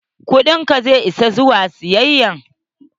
Kudin ka zai isa zuwa siyayya?